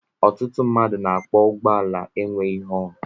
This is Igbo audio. Ọtụtụ mmadụ na-akwọ ụgbọala enweghị họọnụ.